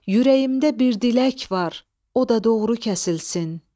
Ürəyimdə bir dilək var, o da doğru kəsilsin.